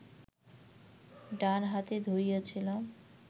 ডান হাতে ধরিয়াছিলাম